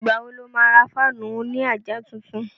Ìgbà wo lo má ra fáànù òní àjà tuntun?